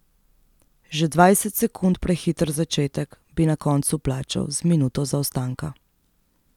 Že dvajset sekund prehiter začetek bi na koncu plačal z minuto zaostanka.